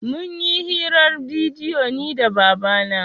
Mun yi hirar bidiyo ni da baba na